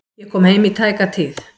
Ég kom heim í tæka tíð.